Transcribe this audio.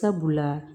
Sabula